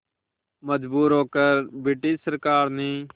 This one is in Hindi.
मजबूर होकर ब्रिटिश सरकार ने